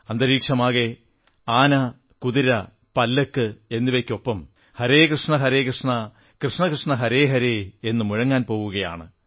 അന്തരീക്ഷമാകെ ആന കുതിര പല്ലക്ക് എന്നിവയ്ക്കൊപ്പം ഹരേ കൃഷ്ണ ഹരേ കൃഷ്ണ ഗോവിന്ദാ ഗോവിന്ദാ എന്നു മുഴങ്ങാൻ പോവുകയാണ്